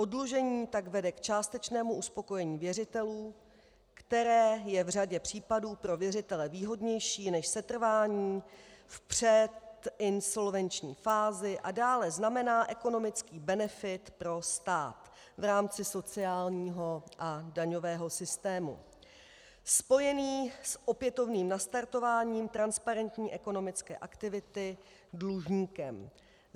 Oddlužení tak vede k částečnému uspokojení věřitelů, které je v řadě případů pro věřitele výhodnější než setrvání v předinsolvenční fázi a dále znamená ekonomický benefit pro stát v rámci sociálního a daňového systému spojený s opětovným nastartováním transparentní ekonomické aktivity dlužníkem.